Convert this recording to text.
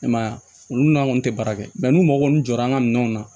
I m'a ye olu n'an kɔni tɛ baara kɛ n'u mako ninnu jɔra an ka minɛnw na